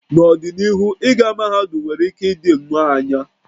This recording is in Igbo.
N'ọdịnihu, ịga mahadum nwere ike ịdị nnọọ anya